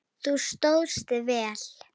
Þú stóðst þig vel.